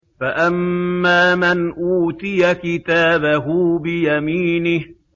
فَأَمَّا مَنْ أُوتِيَ كِتَابَهُ بِيَمِينِهِ